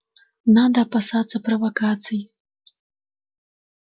надо опасаться провокаций